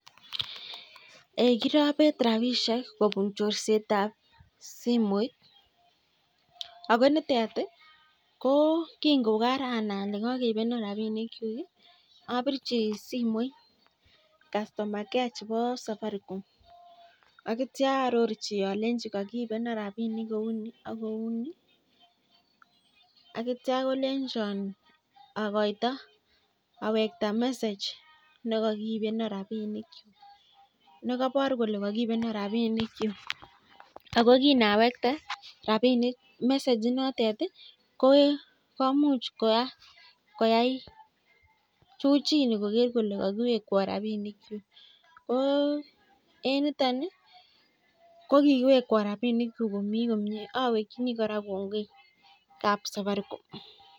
Kirabet rabishek kobun chorset ab simoit akonitet ii ko ngiranai alee kakeibanoo rabishek abirji simoit (customer care) cheboo (safaricom) atyaa arorji atya kolenjo awekta (message) neibaruu ko eng nitok kikiwekwo rabinik chuk komii komnyee